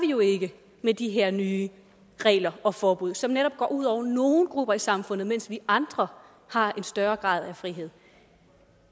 jo ikke med de her nye regler og forbud som netop går ud over nogle grupper i samfundet mens vi andre har en større grad af frihed